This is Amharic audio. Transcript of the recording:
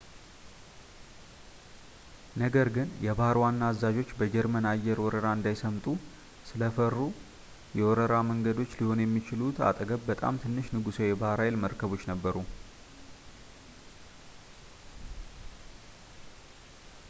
ነገር ግን የባሕር ዋና አዛዦቹ በጀርመን አየር ወረራ እንዳይሰምጡ ስለፈሩ የወረራ መንገዶች ሊሆኑ የሚችሉት አጠገብ በጣም ትንሽ ንጉሳዊ የባሕር ኃይል መርከቦች ነበሩ